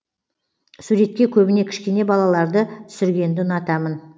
суретке көбіне кішкене балаларды түсіргенді ұнатамын